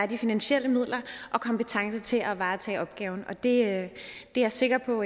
de finansielle midler og kompetencer til at varetage opgaven og det er jeg sikker på